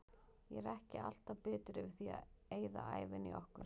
Ég er ekki alltaf bitur yfir því að eyða ævinni í okkur.